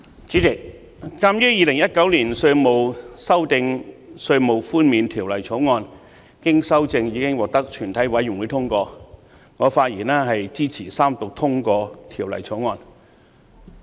主席，鑒於《2019年稅務條例草案》經修正後已經獲得全體委員會通過，我發言支持三讀通過《條例草案》。